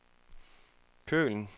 Køln